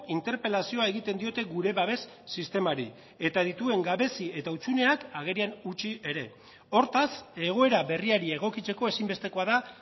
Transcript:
interpelazioa egiten diote gure babes sistemari eta dituen gabezi eta hutsuneak agerian utzi ere hortaz egoera berriari egokitzeko ezinbestekoa da